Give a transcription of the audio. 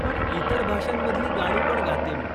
पण इतर भाषांमधली गाणी पण गाते मी.